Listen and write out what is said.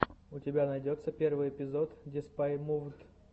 у тебя найдется первый эпизод деспай мувд